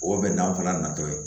O bɛnkan fana natɔ ye